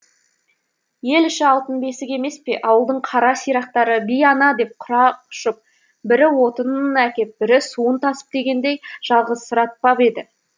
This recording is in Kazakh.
ел іші алтын бесік емес пе ауылдың қара сирақтары би ана деп құрақ ұшып бірі отынын әкеп бірі суын тасып дегендей жалғызсыратпап еді